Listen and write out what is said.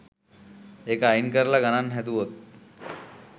ඒක අයින් කරලා ගණන් හැදුවොත්